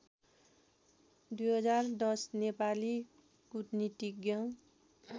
२०१० Nepali कूटनीतिज्ञ